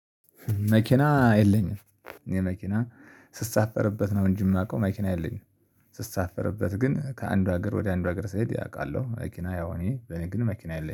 መኪና የለኝም። መኪና ስሳፈርበት ነው እንጂ የማውቀው መኪና የለኝም። ስሳፈርበት ግን ከአንዱ ሀገር ወደ አንዱ ሀገር ስሄድ እቃለሁ መኪና ያው እኔ ግን መኪና የለኝም